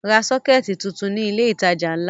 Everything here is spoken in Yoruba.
Ra sọ́kẹ́tì tuntun ní ilé-ìtajà ńlá!